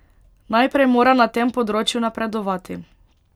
Najprej mora na tem področju napredovati.